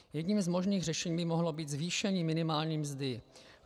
Jedním z možných řešení by mohlo být zvýšení minimální mzdy.